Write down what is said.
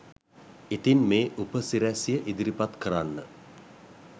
ඉතින් මේ උපසිරැසිය ඉදිරිපත් කරන්න